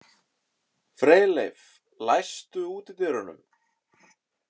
Freyleif, læstu útidyrunum.